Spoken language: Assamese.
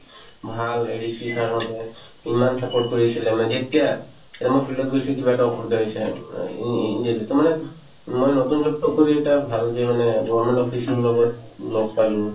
ভাল হেৰি sir হঁতে ইমান support কৰি আছিলে মানে যেতিয়া এতিয়া মই field ত গৈছো কি এটা অসুবিধা হৈছে ই ~ ই ~ in daily to মানে মই নতুনকে চাকৰি এটা ভাল যি মানে government job পাইছো লগত লগ পালো